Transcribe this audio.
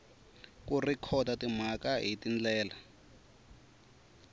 ku rhekhoda timhaka hi tindlela